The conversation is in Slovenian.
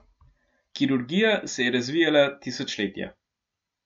Kirurgija se je razvijala tisočletja.